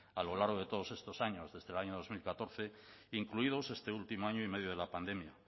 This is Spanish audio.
a lo largo de todos estos años desde el año dos mil catorce incluidos este último año y medio de la pandemia